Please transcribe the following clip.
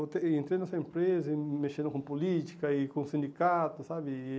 Entre entrei nessa empresa e mexendo com política e com sindicato, sabe? E